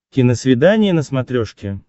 киносвидание на смотрешке